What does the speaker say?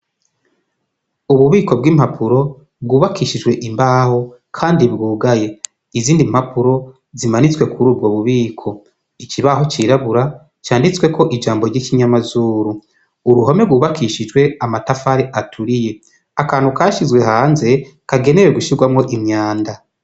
Ububiko bw'impapuro, bwubakishije imbaho, kandi bwugaye. Izindi mpapuro zimanitswe kuri ubwo bubiko. Ikibaho cirabura canditsweko ijambo ry' ikinyamazuru. Uruhome rwubakishijwe amatafari aturiye. Akantu kashizwe hanze kagenewe gushirwamwo imyanda.